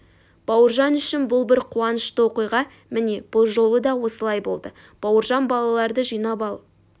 бауыржан үшін бұл бір қуанышты оқиға міне бұл жолы да осылай болды бауыржан балаларды жинап ал